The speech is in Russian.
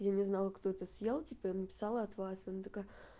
я не знаю кто это съел типа написала от вас она такая